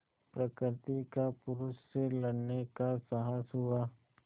प्रकृति का पुरुष से लड़ने का साहस हुआ